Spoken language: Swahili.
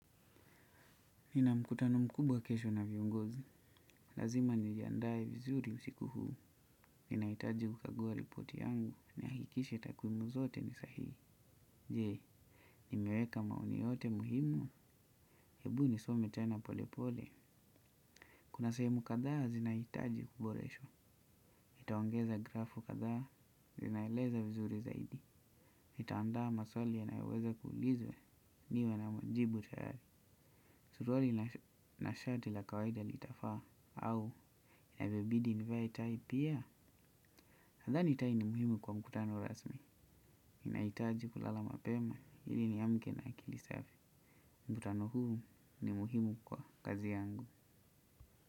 Nina mkutano mkubwa kesho na viongozi. Lazima niliandae vizuri usiku huu. Ninahitaji kukagua ripoti yangu. Nihakikishe takwimu zote ni sahihi. Je, nimeweka maoni yoyote muhimu. Hebu nisome tena polepole. Kuna sehemu kadhaa zinahitaji kuboreshwa. Nitaongeza grafu kadhaa zinaeleza vizuri zaidi. Nita andaa maswali yanayoweza kuulizwa niwe na majibu tayari. Suruali na shati la kawaida litafaa au yavyobidi nivae tai pia. Nadhani tai ni muhimu kwa mkutano rasmi nahitaji kulala mapema ili niamke na akili safi. Mkutano huu ni muhimu kwa kazi yangu.